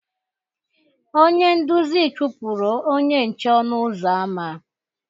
Onye nduzi chụpụrụ onye nche ọnụ ụzọ ámá